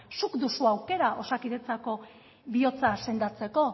zuk duzu aukera osakidetzako bihotza sendatzeko